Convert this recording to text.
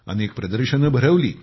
अनेक प्रदर्शने भरवली